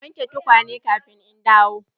Ka wanke tukwane kafin in dawo!